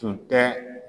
Tun tɛ